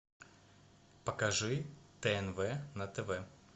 покажи тнв на тв